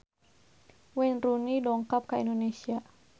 Wayne Rooney dongkap ka Indonesia